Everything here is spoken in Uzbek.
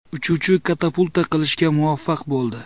Uchuvchi katapulta qilishga muvaffaq bo‘ldi.